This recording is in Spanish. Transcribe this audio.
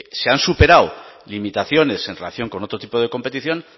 se han superado limitaciones en relación con otro tipo de competición